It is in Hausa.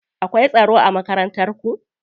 Akwai tsaro a Makarantar ku?